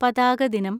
പതാക ദിനം